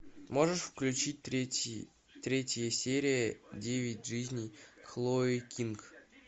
можешь включить третий третья серия девять жизней хлои кинг